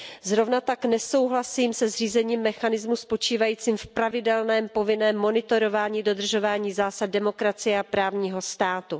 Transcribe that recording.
Zrovna tak nesouhlasím se zřízením mechanismu spočívajícího v pravidelném povinném monitorování dodržování zásad demokracie a právního státu.